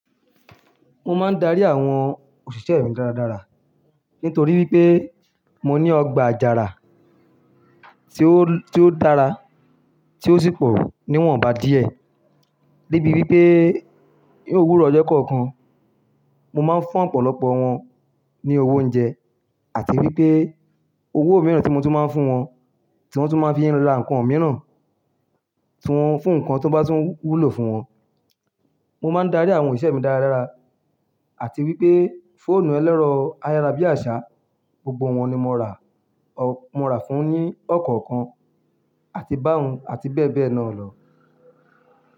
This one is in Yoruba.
Mo máa ń darí àwọn òṣìṣẹ́ mi dáradára nítorí wípé mo ní ọgbà àjàrà tí ó, tí ó dára tí ó sì pọ̀ níwọ̀n bá díẹ̀. Débi wípé ní òwúrọ̀ ọjọ́ kọ̀ọ̀kan mo máa ń fún ọ̀pọ̀lọpọ̀ wọn ní owó oúnjẹ àti wípé owó mìíràn tí mo tún máa ń fún wọn tí wọ́n tún máa ń fi ra nǹkan mìíràn tí wọ́n fún nǹkan tó bá tún wúlò fún wọn. Mo máa ń darí àwọn òṣìṣẹ́ mi dáradára àti wípé fóònù ẹlẹ́rọ ayárabíàṣá gbogbo wọn ni mo ra, mo ra fún wọn ní ọ̀kọ̀ọ̀kan àti bá ohun àti bẹ́ẹ̀ bẹ́ẹ̀ lọ.